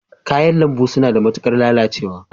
Kayan lambu suna da matuƙar lalacewa